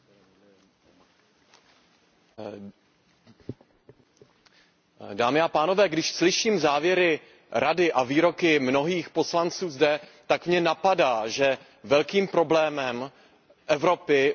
Pane předsedající, když slyším závěry Rady a výroky mnohých poslanců zde, tak mě napadá, že velkým problémem Evropy je falešný humanismus.